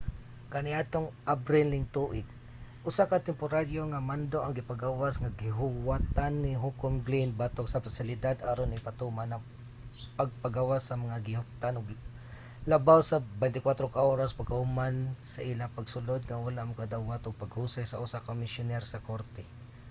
kaniadtong abril ning tuig usa ka temporaryo nga mando ang gipagawas nga giuwatan ni hukom glynn batok sa pasilidad aron ipatuman ang pagpagawas sa mga gihuptan og labaw sa 24 ka oras pagkahuman sa ilang pagsulod nga wala makadawat og paghusay sa usa ka komisyoner sa korte